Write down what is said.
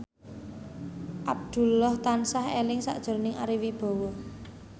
Abdullah tansah eling sakjroning Ari Wibowo